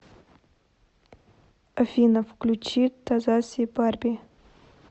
афина включи тазаси барби